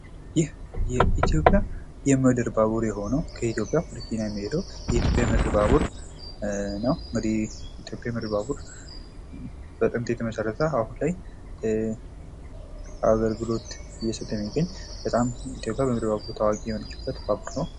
የኢትዮጵያ የምድር ባቡር የሆነው ከኢትዮጵያ ወደ ኬንያ የሚሄደው የኢትዮጵያ የምድር ባቡር ነው። እንግዲህ የኢትዮጵያ የምድር ባቡር በጥንት የተመሰረተ አሁን ላይ አገልግሎት እየሰጠ የሚገኝ ፤ ኢትዮጵያ በጣም ታዋቂ የሆነችበት ነው።